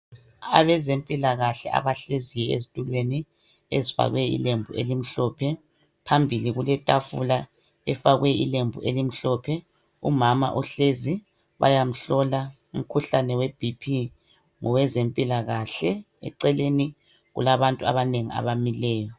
Abezempilakahle abahlezi ezitulweni ezifakwe ilembu elimhlophe phambili okuletafula efakwe ilembu elimhlophe umama uhlezi bayamhlola umkhuhlane webp ngowezempilakahle. Eceleni kulabantu abanengi abamileyo.